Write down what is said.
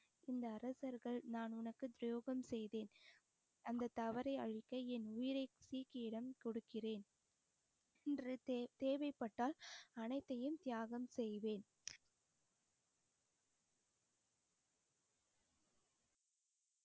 இந்த அரசர்கள் நான் உனக்கு துரோகம் செய்தேன் அந்த தவறை அழிக்க என் உயிரை சீக்கியிடம் கொடுக்கிறேன் இன்று தே~ தேவைப்பட்டால் அனைத்தையும் தியாகம் செய்வேன்